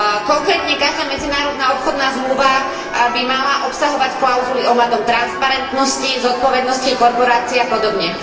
Konkrétne každá medzinárodná obchodná zmluva by mala obsahovať klauzuly ohľadom transparentnosti, zodpovednosti korporácií a podobne.